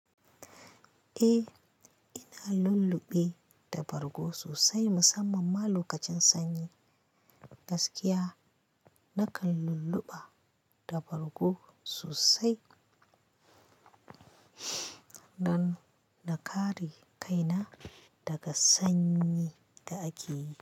Eh, ina lulluɓe da bargo sosai musamman ma lokacin sanyi. Gaskiya nakan lulluɓa da bargo sosai don na kare kaina, daga sanyi da ake yi.